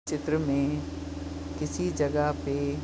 चित्र में किसी जगह पे --